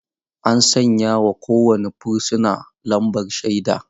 Ana sanya wa kowane fursuna lambar shaida.